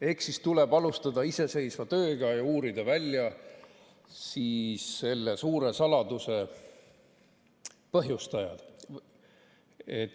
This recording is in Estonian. Eks siis tuleb alustada iseseisvat tööd ja uurida välja selle suure saladuse põhjustajad.